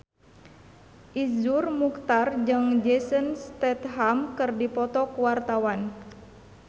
Iszur Muchtar jeung Jason Statham keur dipoto ku wartawan